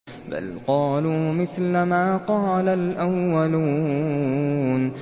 بَلْ قَالُوا مِثْلَ مَا قَالَ الْأَوَّلُونَ